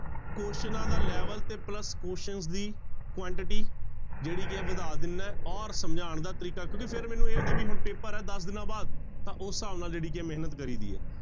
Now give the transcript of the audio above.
ਕੁਆਸਚਨਾਂ ਦਾ level ਤੇ plus questions ਦੀ quantity ਜਿਹੜੀ ਕੀ ਹੈ ਵਧਾ ਦਿੰਦਾ ਹੈ ਔਰ ਸਮਝਾਉਣ ਦਾ ਤਰੀਕਾ ਕਿਉਂਕਿ ਫਿਰ ਮੈਨੂੰ ਇਹ ਹੁੰਦਾ ਵੀ ਹੁਣ ਪੇਪਰ ਹੈ ਦਸ ਦਿਨਾਂ ਬਾਅਦ ਤਾਂ ਉਸ ਹਿਸਾਬ ਨਾਲ ਜਿਹੜੀ ਕੀ ਹੈ ਮਿਹਨਤ ਕਰੀ ਦੀ ਹੈ।